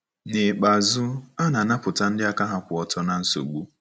N’ikpeazụ, a na-anapụta ndị aka ha kwụ ọtọ ná nsogbu.